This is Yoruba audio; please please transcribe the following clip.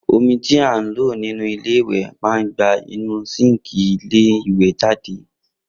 Omi tí a lò nínú ilé ìwè má gba inúu síńkì ilé ìwè jáde